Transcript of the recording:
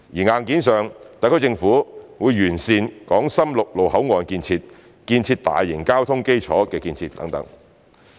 硬件上，特區政府完善港深陸路口岸建設、建設大型交通基礎建設等。